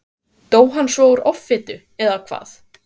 Dó hann svo úr offitu, eða hvað?